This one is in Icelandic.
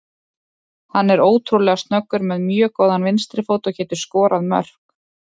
Hann er ótrúlega snöggur, með mjög góðan vinstri fót og getur skorað mörk.